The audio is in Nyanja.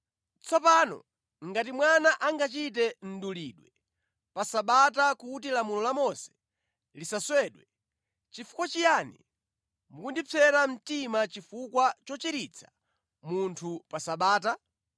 Tsopano ngati mwana angachite mdulidwe pa Sabata kuti lamulo la Mose lisaswedwe, nʼchifukwa chiyani mukundipsera mtima chifukwa chochiritsa munthu pa Sabata?